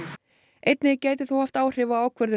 einnig gæti þó haft áhrif á ákvörðunina